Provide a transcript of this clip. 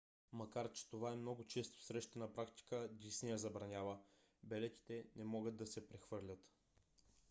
макар че това е много често срещана практика дисни я забранява: билетите не могат да се прехвърлят